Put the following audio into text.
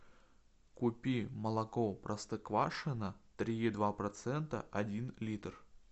купи молоко простоквашино три и два процента один литр